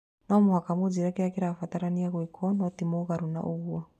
No mũhaka mũnjĩre kĩrĩa kĩrabatarania gwĩkwo, no tĩ mũgarũ no ũguo